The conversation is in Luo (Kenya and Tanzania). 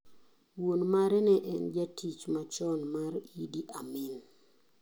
Wuon mare ne en jatich machon mar Idi Amin.